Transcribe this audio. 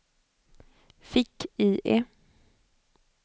fick-IE